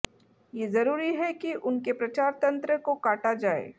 ये जरूरी है कि उनके प्रचार तंत्र को काटा जाए